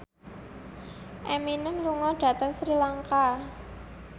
Eminem lunga dhateng Sri Lanka